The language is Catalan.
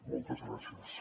moltes gràcies